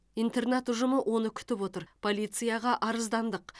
интернат ұжымы оны күтіп отыр полицияға арыздандық